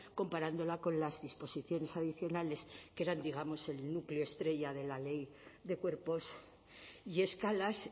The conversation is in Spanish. comparándola con las disposiciones adicionales que eran digamos el núcleo estrella de la ley de cuerpos y escalas